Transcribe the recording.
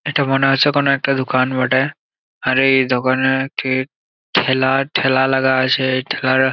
এটা মনে হচ্ছে কোনো একটা দুকান বটে আর এই দোকানে ঠিক ঠেলা ঠেলা লাগা আছে ঠেলা--